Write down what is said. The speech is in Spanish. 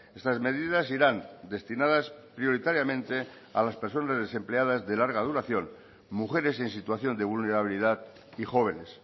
estas medidas irán destinadas prioritariamente a las personas desempleadas de larga duración mujeres en situación de vulnerabilidad y jóvenes